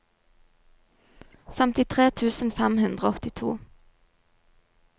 femtitre tusen fem hundre og åttito